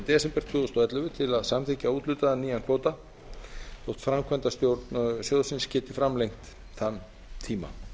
desember tvö þúsund og ellefu til að samþykkja úthlutaðan nýjan kvóta þó framkvæmdastjórn sjóðsins geti framlengt þann tíma